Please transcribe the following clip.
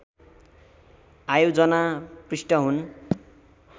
आयोजना पृष्ठ हुन्